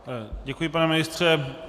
Děkuji, pane ministře.